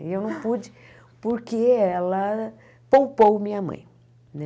E eu não pude, porque ela poupou minha mãe, né?